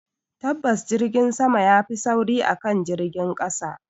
Tabbas Jirgin sama yafi sauri akan jirgin ƙasa